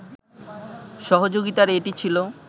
সহযোগিতার এটি ছিল